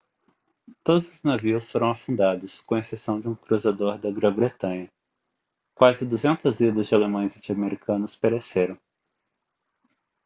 todos os navios foram afundados com exceção de um cruzador da grã-bretanha quase 200 vidas de alemães e de americanos pereceram